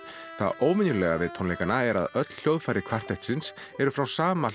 það óvenjulega við tónleikana er að öll hljóðfæri kvartettsins eru frá sama